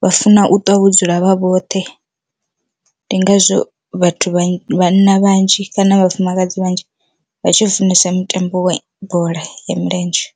vha funa u ṱwa vho dzula vha vhoṱhe, ndi ngazwo vhathu vha vhanna vhanzhi kana vhafumakadzi vhanzhi vha tshi funesa mutambo wa bola ya milenzhe.